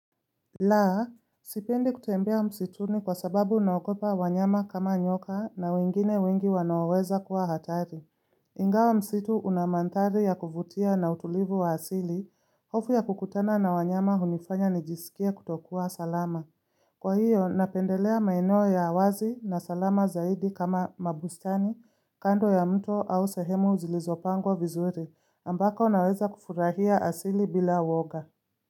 Laa, sipendi kutembea msituni kwa sababu naokopa wanyama kama nyoka na wengine wengi wanaoweza kuwa hatari. Ingawa msitu una manthari ya kuvutia na utulivu wa asili, hofu ya kukutana na wanyama hunifanya nijisikie kutokuwa salama. Kwa hiyo, napendelea maeneo ya awazi na salama zaidi kama mabustani, kando ya mto au sehemu zilizopangwa vizuri, ambako naweza kufurahia asili bila uwoga.